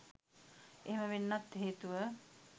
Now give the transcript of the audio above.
එහෙම වෙන්නත් හේතුව